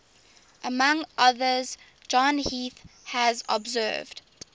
among others john heath has observed